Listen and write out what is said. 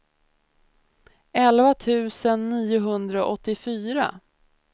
elva tusen niohundraåttiofyra